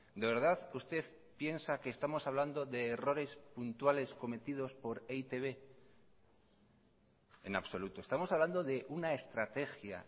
de verdad usted piensa que estamos hablando de errores puntuales cometidos por e i te be en absoluto estamos hablando de una estrategia